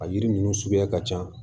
A yiri ninnu suguya ka ca